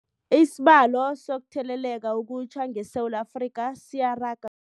Isibalo sokuthele leka okutjha ngeSewula Afrika siyaraga